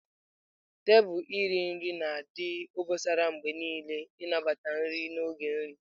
Tebụl iri nri na-adị obosara mgbe niile iji nabata nri n'oge nri.